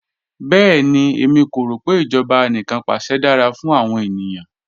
Bẹẹni, ẹ̀mí kò rọ pe ijọba àníkanpàṣẹ̀ dara fún awọn ènìyàn